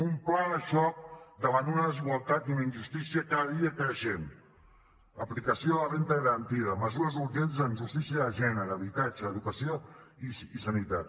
un pla de xoc davant una desigualtat i una injustícia cada dia creixent aplicació de la renda garantida mesures urgents en justícia de gènere habitatge educació i sanitat